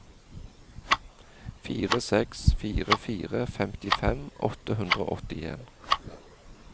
fire seks fire fire femtifem åtte hundre og åttien